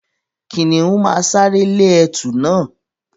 Kìnìún máa sáré lé ẹtù na.